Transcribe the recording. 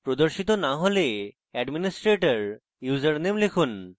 প্রদর্শিত না হলে administrator username লিখুন